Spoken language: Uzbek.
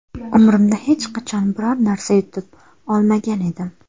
Umrimda hech qachon biror narsa yutib olmagan edim.